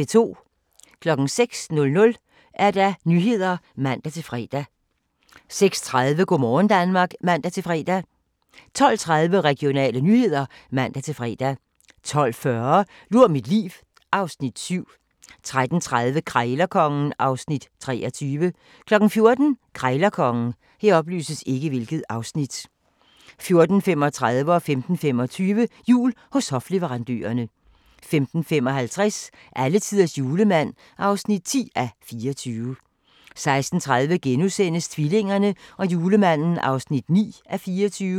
06:00: Nyhederne (man-fre) 06:30: Go' morgen Danmark (man-fre) 12:30: Regionale nyheder (man-fre) 12:40: Lur mit liv (Afs. 7) 13:30: Krejlerkongen (Afs. 23) 14:00: Krejlerkongen 14:35: Jul hos hofleverandørerne 15:25: Jul hos hofleverandørerne 15:55: Alletiders julemand (10:24) 16:30: Tvillingerne og julemanden (9:24)*